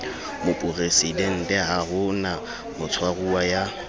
moporesidenteha ho na motshwaruwa ya